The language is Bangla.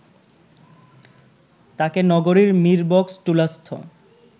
তাকে নগরীর মিরবক্সটুলাস্থ